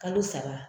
Kalo saba